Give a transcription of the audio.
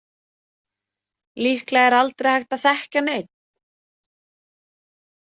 Líklega er aldrei hægt að þekkja neinn.